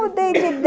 Mudei de ideia...